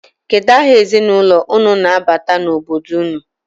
Kedu aha ezinụlọ unu na-abata n'obodo unu?